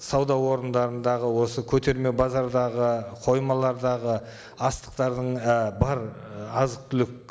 сауда орындарындағы осы көтерме базардағы қоймалардағы астықтардың і бар азық түлік